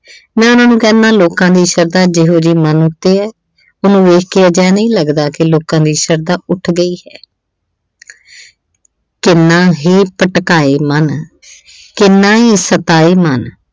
ਮੈਂ ਉਹਨਾਂ ਨੂੰ ਕਹਿੰਦਾ, ਲੋਕਾਂ ਦੀ ਸ਼ਰਧਾ ਜਿਹੋ ਜੀ ਮਨ ਉੱਤੇ ਏ, ਉਹਨੂੰ ਵੇਖ ਕੇ ਅਜਿਹਾ ਨਹੀਂ ਲੱਗਦਾ ਕਿ ਲੋਕਾਂ ਦੀ ਸ਼ਰਧਾ ਉੱਠ ਗਈ ਏ। ਕਿੰਨਾ ਹੀ ਭਟਕਾਏ ਮਨ, ਕਿੰਨਾ ਹੀ ਸਤਾਏ ਮਨ।